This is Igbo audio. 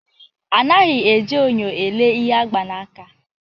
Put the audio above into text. Anaghị eji nyo elee ihe agba n'aka